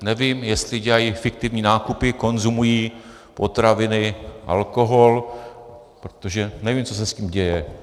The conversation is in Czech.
Nevím, jestli dělají fiktivní nákupy, konzumují potraviny, alkohol, protože nevím, co se s tím děje.